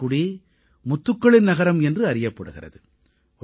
தூத்துக்குடி முத்துக்களின் நகரம் என்று அறியப்படுகிறது